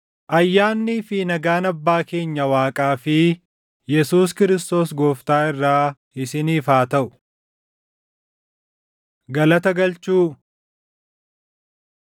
Ayyaannii fi nagaan Abbaa keenya Waaqaa fi Yesuus Kiristoos Gooftaa irraa isiniif haa taʼu. Galata Galchuu